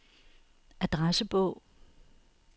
adressebog